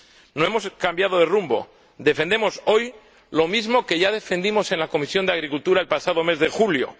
No hemos cambiado de rumbo, defendemos hoy lo mismo que ya defendimos en la Comisión de Agricultura el pasado mes de julio.